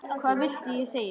Hvað viltu ég segi?